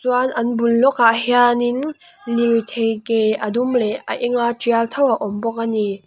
chuan an bul lawkah hianin lirthei ke a dum leh a enga tial tho a awm bawk a ni.